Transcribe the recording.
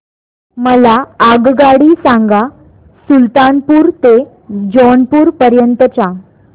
मला आगगाडी सांगा सुलतानपूर ते जौनपुर पर्यंत च्या